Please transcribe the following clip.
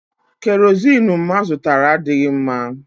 Kerozini mma zụtara adịghị mma.